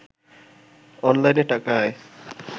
অনলাইনে টাকা আয়